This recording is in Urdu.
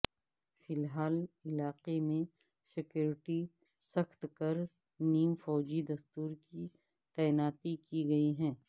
فی الحال علاقے میں سیکورٹی سخت کر نیم فوجی دستوں کی تعیناتی کی گئی ہے